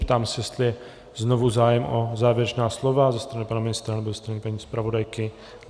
Ptám se, jestli je znovu zájem o závěrečná slova ze strany pana ministra nebo ze strany paní zpravodajky.